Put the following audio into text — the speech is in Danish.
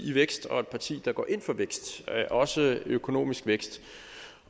i vækst og et parti der går ind for vækst også økonomisk vækst